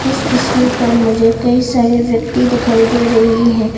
इस तस्वीर पर मुझे कई सारे व्यक्ति दिखाई दे रही हैं।